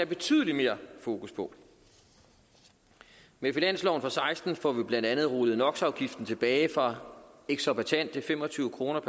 betydelig mere fokus på med finansloven for seksten får vi blandt andet rullet nox afgiften tilbage fra eksorbitante fem og tyve kroner